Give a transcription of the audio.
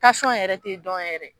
yɛrɛ te dɔn yɛrɛ.